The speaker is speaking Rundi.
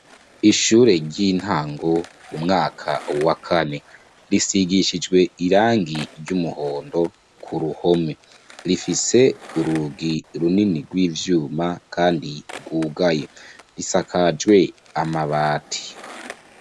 Ishure ry'intango, umwaka wa kane, risigishijwe irangi ry'umuhondo, ku ruhome; rifise urugi runini rw'ivyuma kandi rwugaye, risakajwe amabati.